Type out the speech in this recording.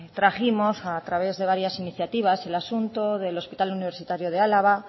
trajimos a través de varias iniciativas el asunto del hospital universitario de álava